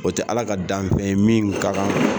O tɛ Ala ka danfɛn ye min ka kan